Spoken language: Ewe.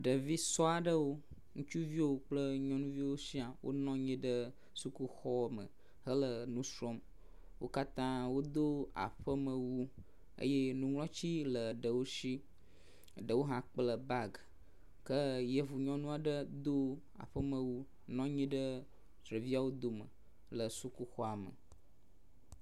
ɖevi sɔɔ aɖewo ŋutsuviwo kple nyɔnuviwo siã yiɖe suku xɔ me hele nusrɔm wókatã wodó aƒeme wu eye ŋuŋlɔti le ɖewo si ɖewo hã kple bag ke yevu nyɔŋuɔ ɖe hã dó aƒeme wu nɔnyi ɖe ɖeviawo dome le sukuxɔ me